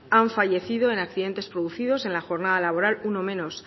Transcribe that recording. han fallecido en accidentes producidos en la jornada laboral uno menos